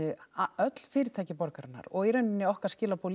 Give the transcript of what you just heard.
öll fyrirtæki borgarinnar og í rauninni okkar skilaboð